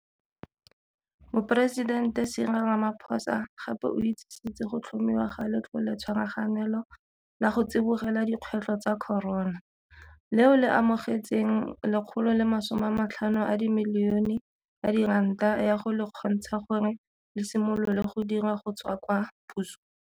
Moporesidente Cyril Ramaphosa gape o itsisitse go tlhomiwa ga Letloletshwaraganelo la go Tsibogela Dikgwetlho tsa Corona, leo le amogetseng R150 milione ya go le kgontsha gore le simolole go dira go tswa kwa pusong.